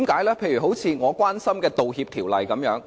例如，我關心的《道歉條例》。